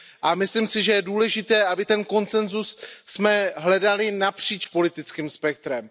A myslím si, že je důležité, aby ten konsenzus jsme hledali napříč politickým spektrem.